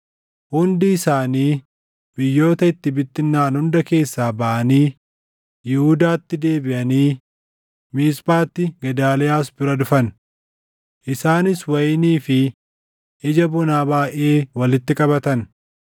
hundi isaanii biyyoota itti bittinnaaʼan hunda keessaa baʼanii Yihuudaatti deebiʼanii Miisphaatti Gedaaliyaas bira dhufan. Isaanis wayinii fi ija bonaa baayʼee walitti qabatan.